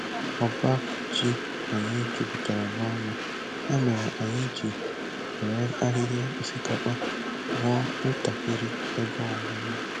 Ọba ji anyị jupụtara n'ọnụ, ya mere anyị ji were ahịhịa osikapa wuo ntakịrị ebe ọnụnọ.